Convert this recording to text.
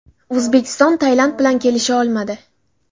O‘zbekiston Tailand bilan kelisha olmadi.